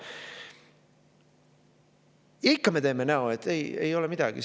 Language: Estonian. Ja ikka me teeme näo, et ei, ei ole midagi.